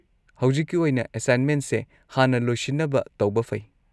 ꯍꯧꯖꯤꯛꯀꯤ ꯑꯣꯏꯅ, ꯑꯦꯁꯥꯏꯟꯃꯦꯟꯁꯦ ꯍꯥꯟꯅ ꯂꯣꯏꯁꯤꯟꯅꯕ ꯇꯧꯕ ꯐꯩ꯫